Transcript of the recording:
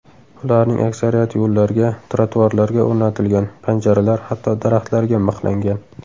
Ularning aksariyati yo‘llarga, trotuarlarga o‘rnatilgan, panjaralar, hatto daraxtlarga mixlangan.